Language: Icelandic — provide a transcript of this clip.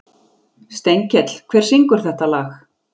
Steinkell, hver syngur þetta lag?